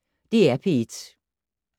DR P1